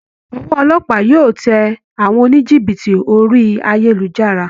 Ọwọ́ olópàá yóò tẹ àwọn oníjìbìtì orí ayélujára